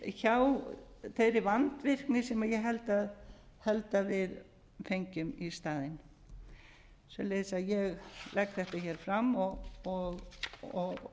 hjá þeirri vandvirkni sem ég held að við fengjum í staðinn svoleiðis að ég legg þetta hér fram og